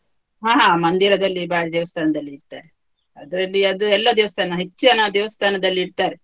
ಹ ಹಾ ಮಂದಿರದಲ್ಲಿ ಬಾರಿ ದೇವಸ್ಥಾನದಲ್ಲಿ ಇಡ್ತಾರೆ, ಅದ್ರಲ್ಲಿ ಅದು ಎಲ್ಲ ದೇವಸ್ಥಾನ, ಹೆಚ್ಚಿನ ದೇವಸ್ಥಾನದಲ್ಲಿ ಇಡ್ತಾರೆ.